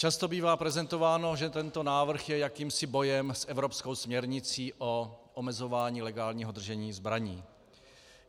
Často bývá prezentováno, že tento návrh je jakýmsi bojem s evropskou směrnicí o omezování legálního držení zbraní.